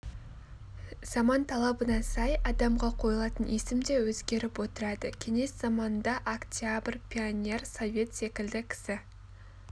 заман талабына сай адамға қойылатын есім де өзгеріп отырады кеңес заманында октябрь пионер совет секілді кісі